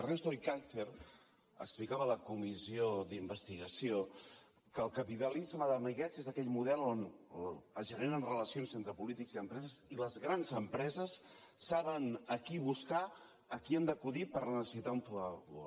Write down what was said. ernesto ekaizer explicava a la comissió d’investigació que el capitalisme d’amiguets és aquell model on es generen relacions entre polítics i empreses i les grans empreses saben a qui buscar a qui han d’acudir quan necessiten un favor